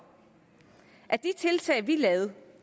at de tiltag vi lavede